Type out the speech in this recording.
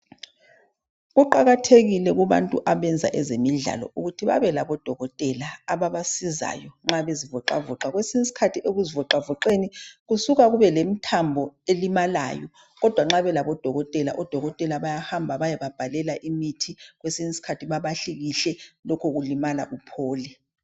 Kuqakathekile kubantu abenza ezemidlalo ukuthi babelabodokotela ababasizayo nxa bezivoxavoxa kwesinye isikhathi ekuzivixavoxeni kusuka kube lemthambo elimalayo kodwa nxa belabodokotela bayahamba bayebabhadalela imithi kwesinye isikhathi babahlikihle lokhu ulimala uphole.